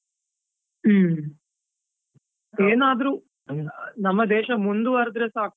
ಹುಮ್ಮ್, ಏನಾದ್ರೂ ನಮ್ಮ ದೇಶ ಮುಂದುವರಿದ್ರೆ ಸಾಕು.